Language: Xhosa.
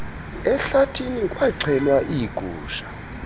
ehlathini kwaxhelwa iigusha